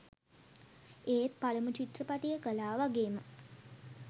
ඒත් පළමු චිත්‍රපටිය කළා වගේම